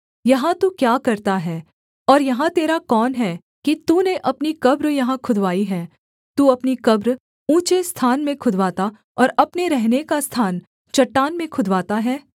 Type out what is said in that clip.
यहाँ तू क्या करता है और यहाँ तेरा कौन है कि तूने अपनी कब्र यहाँ खुदवाई है तू अपनी कब्र ऊँचे स्थान में खुदवाता और अपने रहने का स्थान चट्टान में खुदवाता है